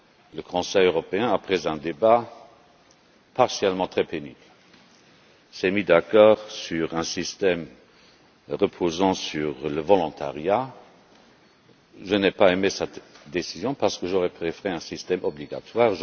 Le Conseil européen, après un débat par moments très pénible, s'est mis d'accord sur un système reposant sur le volontariat. Je n'ai pas aimé cette décision, parce que j'aurais préféré un système obligatoire.